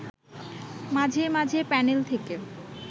মাঝে মাঝে প্যানেল থেকে